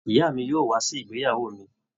Ìyá mi yóò wà sí ìgbéyàwó mí